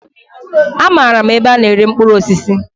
Amaara m ebe a na-ere mkpụrụ osisi.